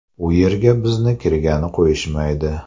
U yerga bizni kirgani qo‘yishmaydi.